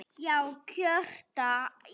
Já, kjökra ég.